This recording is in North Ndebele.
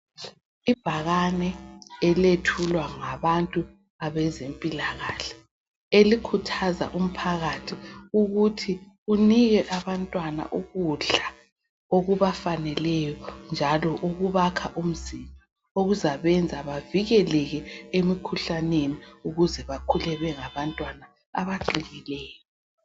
ibhakane elethulwa ngabantu abaezempilakahle elikhuthaza umphakathi ukuthi unike abantwana ukudla okubafaneleyo njalo okubakha umzimba okuzabenza bavikeleke emikhuhlaneni ukuzebakhule bengabantwana abaqinileyo